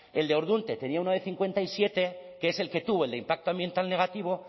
el de ordunte tenía uno de cincuenta y siete que es el que tuvo el de impacto ambiental negativo